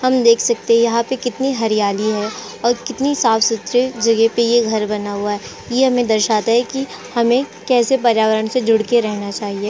हम देख सकते हैं यहां पे कितनी हरियाली है और कितनी साफ सुथरे जगह पे ये घर बना हुआ है ये हमें दर्शाता है कि हमें कैसे पर्यावरण से जुड़ के रहना चाहिए ।